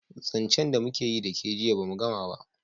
zancen da mu keyi da ke jiya ba mu Gama ba